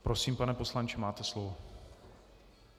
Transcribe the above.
Prosím, pane poslanče, máte slovo.